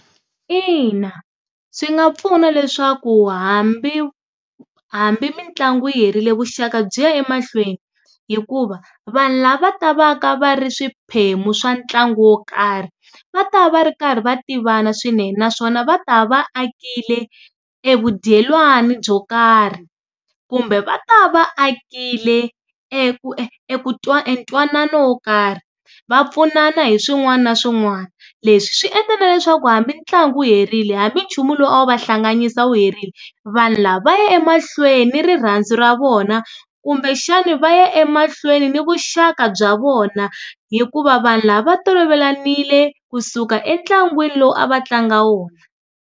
Ina, swi nga pfuna leswaku hambi, hambi mitlangu yi herile vuxaka byi ya emahlweni. Hikuva, vanhu lava va ta va ka va ri swiphemu swa ntlangu wo karhi, va ta va va ri karhi va tivana swinene naswona va ta va akle tlekile e vu dyelwani byo karhi. Kumbe va ta va akile eku e eku e ntwanano wo karhi. Va pfunana hi swin'wana na swin'wana. Leswi swi endlela na leswaku hambileswi ntlangu wu herile, hambi nchumu lowu a wu va hlanganyisa wu herile, vanhu lava va ya emahlweni ni rirhandzu ra vona, kumbexani va ya emahlweni ni vuxaka bya vona hikuva vanhu lava va tolovelanile kusuka entlangwini lowu a va tlanga wona.